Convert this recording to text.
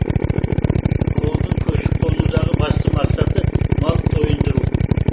ауылдың көшіп қонудағы басты мақсаты мал тойындыру